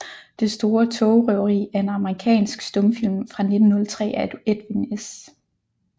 Det store togrøveri er en amerikansk stumfilm fra 1903 af Edwin S